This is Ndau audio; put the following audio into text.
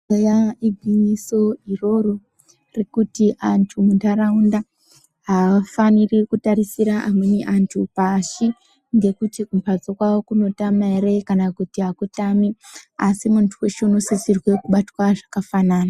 Eya igwinyiso iroro rekuti vantu munharaunda haafaniri kutarisira amweni antu pashi ngekuti kumhatso kwavo kunotama ere, kana kuti hakutami. Asi muntu weshe unosisirwa kubatwa zvakafanana.